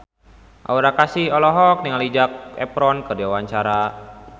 Aura Kasih olohok ningali Zac Efron keur diwawancara